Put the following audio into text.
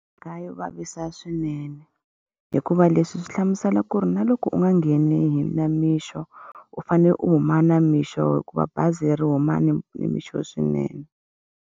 Mhaka yo vavisa swinene. Hikuva leswi swi hlamusela ku ri na loko u nga ngheni hi namixo, u fanele u huma namixo hikuva bazi leri huma ni ni mixo swinene.